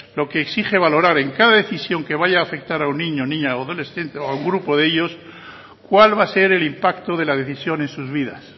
lo que exige valorar en cada decisión que vaya a afectar a un niño niña o adolescente o a un grupo de ellos cuál va a ser el impacto de la decisión en sus vidas